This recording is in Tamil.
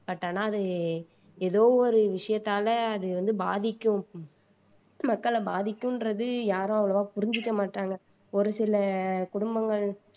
but ஆனா அது ஏதோ ஒரு விஷயத்தால அது வந்து பாதிக்கும் மக்களை பாதிக்கும்ன்றது யாரும் அவ்வளவா புரிஞ்சுக்க மாட்டாங்க ஒரு சில குடும்பங்கள்